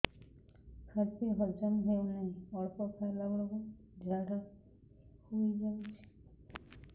ଖାଦ୍ୟ ହଜମ ହେଉ ନାହିଁ ଅଳ୍ପ ଖାଇଲା ବେଳକୁ ଝାଡ଼ା ହୋଇଯାଉଛି